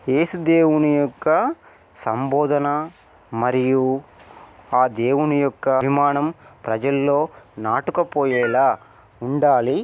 ఏసు దేవుని యొక్క సంబోధన మరియు ఆ దేవుని యొక్క అభిమానం ప్రజలలో నాటకపోయేలా ఉండాలి.